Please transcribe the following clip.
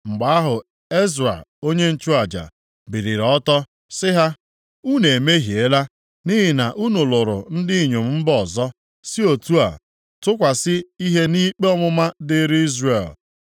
Mgbe ahụ Ezra onye nchụaja, biliri ọtọ, sị ha, “Unu emehiela, nʼihi na unu lụrụ ndị inyom mba ọzọ, si otu a tụkwasị ihe nʼikpe ọmụma dịrị Izrel.